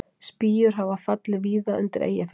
Spýjur hafa fallið víða undir Eyjafjöllum